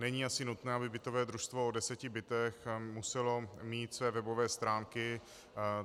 Není asi nutné, aby bytové družstvo o deseti bytech muselo mít své webové stránky.